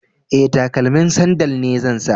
E, takalmin sandal ne zan sa.